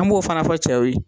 An b'o fana cɛw ye